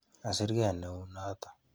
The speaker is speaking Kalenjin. Kasir kei neu noto.